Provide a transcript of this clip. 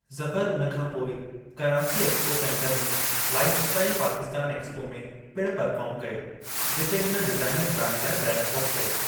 ज़फ़र उन खां पोइ कराची एक्सपो सेन्टर में लाईफ़ इस्टाईल पाकिस्तानु एक्सपो में पिणु परफ़ार्म कयो जिते हुन डिज़ाईनर ब्रांड लाइ रेम्प वॉक कयो।